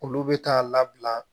Olu bɛ taa labila